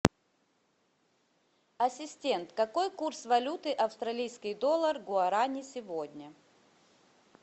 ассистент какой курс валюты австралийский доллар гуарани сегодня